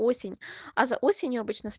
осень а за осенью обычно сп